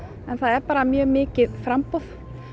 en það er bara mjög mikið framboð